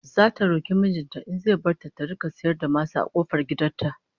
Zata roki mijin ta in zai bar ta ta rika sayar da masa a kofar gidan ta